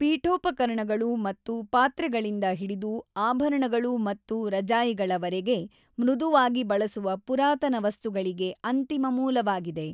ಪೀಠೋಪಕರಣಗಳು ಮತ್ತು ಪಾತ್ರೆಗಳಿಂದ ಹಿಡಿದು ಆಭರಣಗಳು ಮತ್ತು ರಜಾಯಿಗಳವರೆಗೆ ಮೃದುವಾಗಿ ಬಳಸುವ ಪುರಾತನ ವಸ್ತುಗಳಿಗೆ ಅಂತಿಮ ಮೂಲವಾಗಿದೆ.